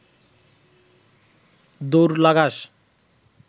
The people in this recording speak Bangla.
দৌড় লাগাস